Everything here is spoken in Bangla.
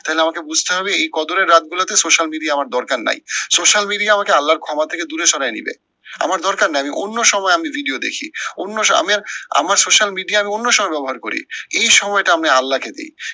তাহলে আমাকে বুঝতে হবে এই কদরের রাত গুলাতে social media আমার দরকার নাই। social media আমাকে আল্লার ক্ষমা থেকে দূরে সরায় দিবে। আমার দরকার নাই আমি অন্য সময় আমি video দেখি অন্য সময় আমি আমার social media আমি অন্য সময় ব্যবহার করি এই সময়টা আমি আল্লাহকে দি।